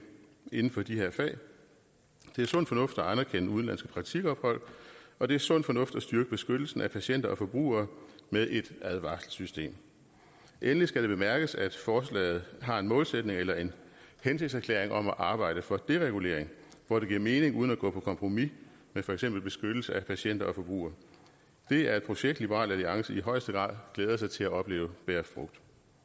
inden for de her fag det er sund fornuft at anerkende udenlandske praktikophold og det er sund fornuft at styrke beskyttelsen af patienter og forbrugere med et advarselssystem endelig skal det bemærkes at forslaget har en målsætning eller en hensigtserklæring om at arbejde for deregulering hvor det giver mening uden at gå på kompromis med for eksempel beskyttelsen af patienter og forbrugere det er et projekt liberal alliance i højeste grad glæder sig til at opleve bære frugt